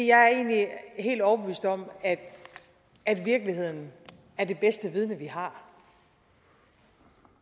jeg er egentlig helt overbevist om at virkeligheden er det bedste vidne vi har